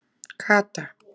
Kata